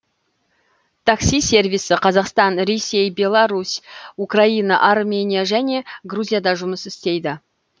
такси сервисі қазақстан ресей беларусь украина армения және грузияда жұмыс істейді